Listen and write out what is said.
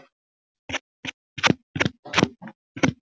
Síðan var sett löng spýta á hausinn.